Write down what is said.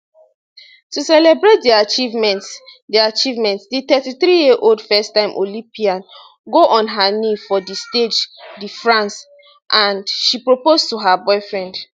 to celebrate di achievement di achievement di 33yearold firsttime olympian go on her knee for di stage de france and she propose to her boyfriend